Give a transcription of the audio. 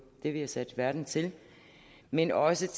det vi er sat i verden til men også